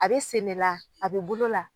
A bɛ sen ne la a bɛ bolo la.